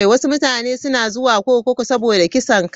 Wasu mutane suna zuwa kurkuku saboda kisan kai.